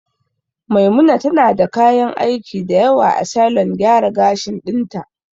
Maimuna tana da kayan aiki dayawa a salon gyara gashin ɗin ta